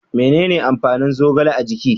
Menene amfanin zogale a jiki?